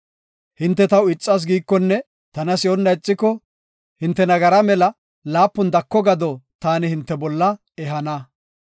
Hinte taw ixas giikonne tana si7onna ixiko, hinte nagara mela laapun dako gado taani hinte bolla ehana.